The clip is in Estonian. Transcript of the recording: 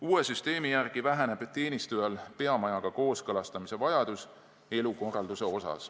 Uue süsteemi järgi väheneb teenistujal vajadus oma elukorraldust peamajaga kooskõlastada.